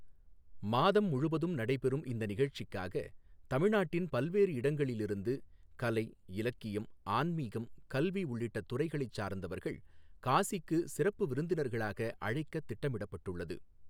மாதம் முழுவதும் நடைபெறும் இந்த நிகழ்ச்சிக்காக, தமிழ்நாட்டின் பல்வேறு இடங்களில் இருந்து கலை, இலக்கியம், ஆன்மீகம், கல்வி உள்ளிட்ட துறைகளை சார்ந்தவர்கள் காசிக்கு சிறப்பு விருந்தினர்களாக அழைக்கத் திட்டமிடப்பட்டு உள்ளது.